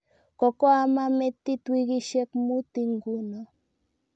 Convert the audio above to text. Kokoama metit wikisyek muut inguno